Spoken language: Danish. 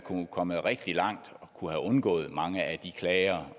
kommet rigtig langt og kunne have undgået mange af de klager